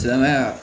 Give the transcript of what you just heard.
Silamɛya